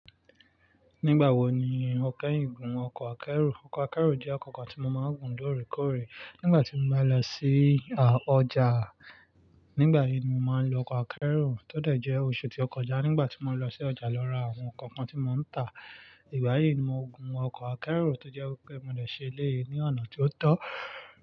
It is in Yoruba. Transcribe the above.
Nígbà wo ni o kẹ́yin gún ọkọ̀ akẹ́rù? Ọkọ̀ akẹ́rù jẹ́ oko kan tí mo máa ń gùn lóòrèkóòrè. Nígbà tí mo bá lọ síí a ọjà, nígbà yìí ni mo máa ń lo ọkọ̀ akẹ́rù. Tó dẹ̀ jẹ́ oṣù tí ó kọjá nígbà tí mo lọ sí ọjà lọ ra àwọn nǹkan kan tí mo ń tà, ìgbà yìí ni mo gun ọkọ̀ akẹ́rù tó jẹ́ wi pé mo lè ṣe lé e ní ọ̀nà tí ó tọ́.